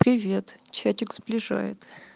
привет чатик сближает